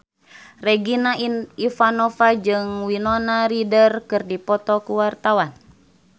Regina Ivanova jeung Winona Ryder keur dipoto ku wartawan